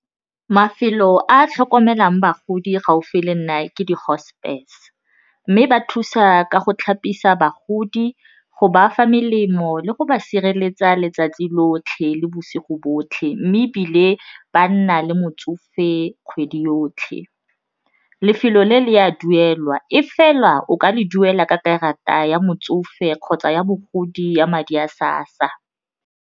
Mafelo a a tlhokomelang bagodi gaufi le nna ke di hospess mme ba thusa ka go tlhapisa, bagodi go ba fa melemo le go ba sireletsa letsatsi lotlhe le bosigo botlhe mme ebile ba nna le motsofe kgwedi yotlhe. Lefelo le, le a duelwa e fela o ka le duela ka karata ya motsofe kgotsa ya bogodi ya madi a SASSA.